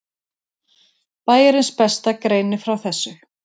Bæjarins besta greinir frá þessu.